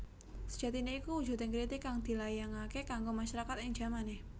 Sejatiné iku wujuding kritik kang dilayangaké kanggo masyarakat ing jamané